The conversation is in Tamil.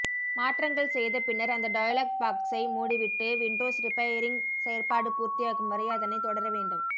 மாற்றங்கல் செய்த பின்னர் அந்த டயலொக் பொக்ஸை மூடிவிட்டு விண்டோஸ் ரிபெயாரிங் செயற்பாடு பூர்த்தியாகும் வரை அதனைத் தொடர வேண்டும்